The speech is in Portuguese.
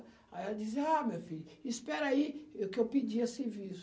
Aí ela dizia, ah, meu filho, espera aí eu que eu pedi esse serviço